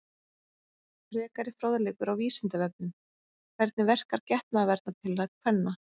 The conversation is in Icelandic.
Frekari fróðleikur á Vísindavefnum: Hvernig verkar getnaðarvarnarpilla kvenna?